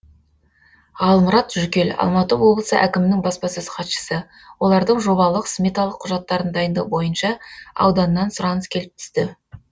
ғалмұрат жүкел алматы облысы әкімінің баспасөз хатшысы олардың жобалық сметалық құжаттарын дайындау бойынша ауданнан сұраныс келіп түсті